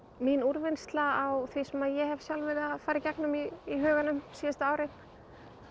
mín úrvinnsla á því sem ég hef sjálf verið að fara í gegnum í í huganum síðustu árin